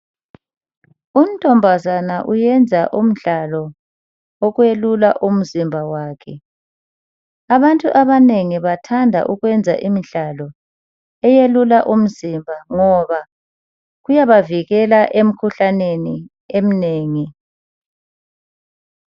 Untombazana uyenza umdlalo wokwelula umzimba wakhe. Abantu abanengi bathanda ukwenza imidlalo yokwelula umzimba ngoba kuyabavikela emkhuhlaneni eminengi.